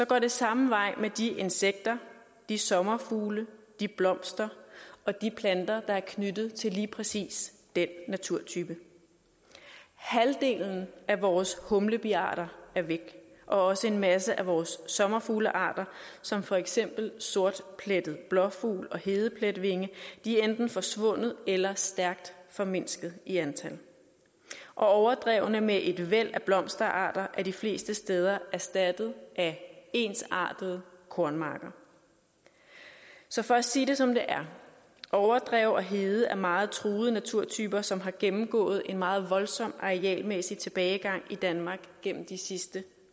går det samme vej med de insekter de sommerfugle de blomster og de planter der er knyttet til lige præcis den naturtype halvdelen af vores humlebiarter er væk og også en masse af vores sommerfuglearter som for eksempel sortplettet blåfugl og hedepletvinge er enten forsvundet eller stærkt formindsket i antal og overdrevene med et væld af blomsterarter er de fleste steder erstattet af ensartede kornmarker så for at sige det som det er overdrev og hede er meget truede naturtyper som har gennemgået en meget voldsom arealmæssig tilbagegang i danmark gennem de sidste